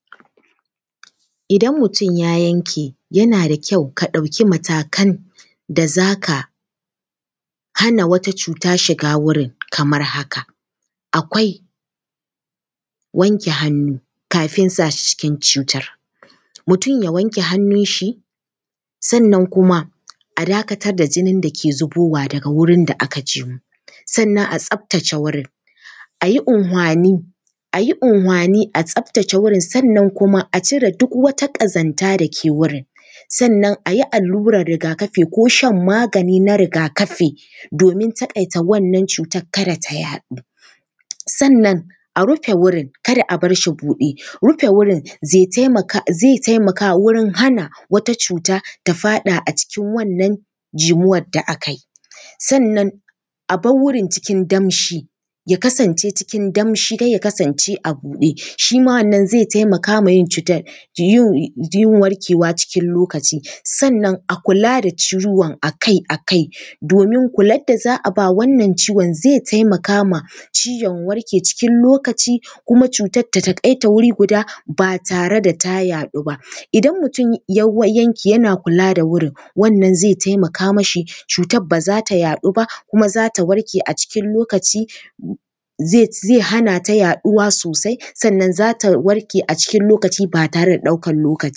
Idan mutum ya yanke, yana da kyau ka ɗauki matakan da za ka hana wata cuta shiga wurin kamar haka: akwai wanke hannu kafin sa shi cikin cutar, mutum ya wanke hannunshi sannan kuma a dakatar da jinin da ke zubowa daga wajen da aka jimu, sannan a tsaftace wurin. A yi anhwani, a yi anhwani a tsaftace wurin, sannan kuma a cire duk wata ƙazanta da ke wurin, sannan a yi allurar riga-kafi ko shan magani na riga-kafi domin taƙaita wannan cutar kada ta yaɗu, sannan a rufe wurin, kada a bar shi buɗe. Rufe wurin zaitaimaka wurin hana wat acuta ta faɗa a cikin wannan jimuwar da aka yi. Sannan a bar wurin cikin damshi, ya kasance cikin damshi don ya kasance a buɗe, shi ma wannan zai taimaka ma yin cutar yin warkewa cikin lokaci. Sannan a kula da ciwon a kai a kai domin kular da za a ba wannan ciwon zai taimaka ma ciwon warke cikin lokaci kuma cutar ta taƙaita wuri guda, ba tare da ta yaɗu ba. Idan mutum ya yanke, yana kula da wurin, wannan zai taimaka mashi, cutar ba za ta yaɗu ba kuma za ta warke a cikin lokaci, zai hana ta yaɗuwa sosai, sannan za ta warke a cikin lokaci ba tare da ɗaukan lokaci ba.